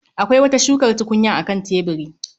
Akwai wata shukar tukunyar a kan tebiri